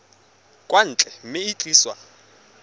kwa ntle mme e tliswa